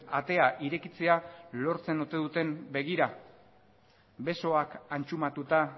atea irekitzea lortzen ote duten begira besoak antxumatuta